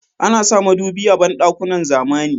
Ana sa madubi a banɗukakn zamani.